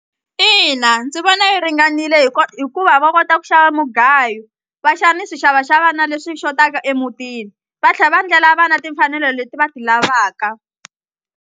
Ina ndzi vona yi ringanile hi hikuva va kota ku xava mugayo va xa ni swixavaxavana leswi xotaka emutini va tlhe va ndlela vana timfanelo leti va ti lavaka.